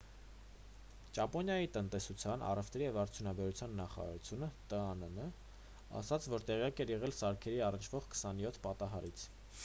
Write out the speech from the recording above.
ճապոնիայի տնտեսության առևտրի և արդյունաբերության նախարարությունն տաան ասաց որ տեղյակ էր եղել սարքերին առնչվող 27 պատահարից: